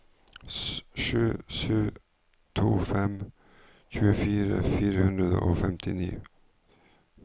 sju sju to fem tjuefire fire hundre og femtini